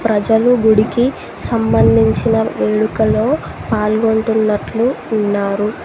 ప్రజలు గుడికి సంబంధించిన వేడుకలో పాల్గొంటున్నట్లు ఉన్నారు.